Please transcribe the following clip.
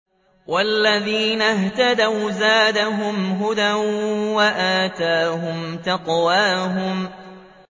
وَالَّذِينَ اهْتَدَوْا زَادَهُمْ هُدًى وَآتَاهُمْ تَقْوَاهُمْ